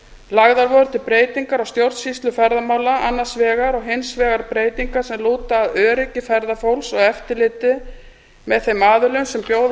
lagðar voru til breytingar á stjórnsýslu ferðamála annars vegar og hins vegar breytingar sem lúta að öryggi ferðafólks og eftirliti með þeim aðilum sem bjóða